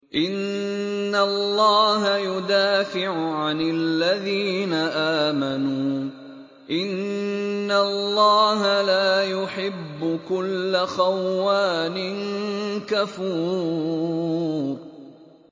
۞ إِنَّ اللَّهَ يُدَافِعُ عَنِ الَّذِينَ آمَنُوا ۗ إِنَّ اللَّهَ لَا يُحِبُّ كُلَّ خَوَّانٍ كَفُورٍ